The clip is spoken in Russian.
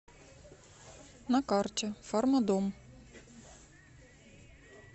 на карте фармадом